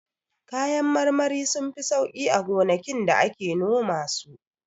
Kayan marmari sunfi sauƙi a gonakin da ake noma su.